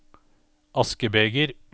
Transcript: askebeger